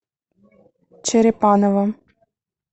черепаново